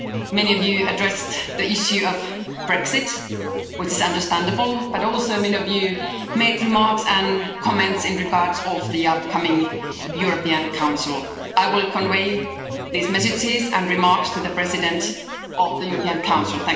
Many of you addressed the issue of Brexit, which is understandable, but also many of you made remarks and comments in regard to the upcoming European Council. I will convey these messages and remarks to the President of the European Council.